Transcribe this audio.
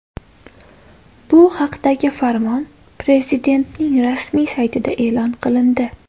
Bu haqdagi farmon Prezidentning rasmiy saytida e’lon qilindi .